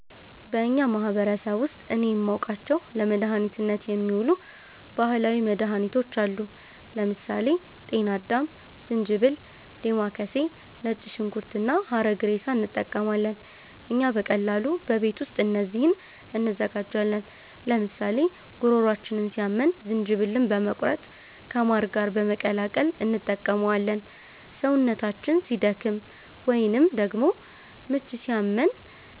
በእኛ ማህበረሰብ ውስጥ እኔ የማውቃቸው ለመድኃኒትነት የሚውሉ ባህላዊ መድኃኒቶች አሉ። ለምሳሌ ጤና አዳም፣ ዝንጅብል፣ ዴማከሴ፣ ነጭ ሽንኩርት እና ሐረግሬሳ እንጠቀማለን። እኛ በቀላሉ በቤት ውስጥ እነዚህን እንዘጋጃለን፤ ለምሳሌ ጉሮሯችንን ሲያመን ዝንጅብልን በመቁረጥ ከማር ጋር በመቀላቀል እንጠቀመዋለን። ሰውነታችን ሲደክም ወይንም ደግሞ ምች ሲያመን